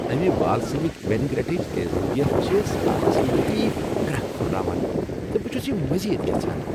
امہ بالسمک وینیگریٹٕچ تیزابیت چھ سلادس لطیف گرٛکھ ہُرراوان تہٕ بہٕ چُھس یہِ مزید یژھان ۔